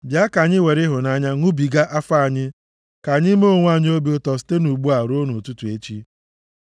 Bịa, ka anyị were ịhụnanya ṅụjụbiga afọ anyị; ka anyị mee onwe anyị obi ụtọ site ugbu a ruo ụtụtụ echi.